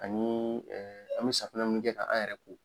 Ani an bɛ safinɛ min kɛ ka an yɛrɛ ko.